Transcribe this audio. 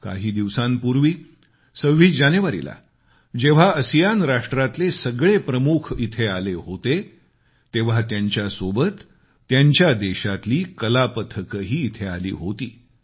काही दिवसांपूर्वी 26 जानेवारीला जेव्हा आसियान राष्ट्रातले सगळे प्रमुख इथे आले होते तेव्हा त्यांच्यासोबत त्या देशातली कला पथकंही इथे आली होती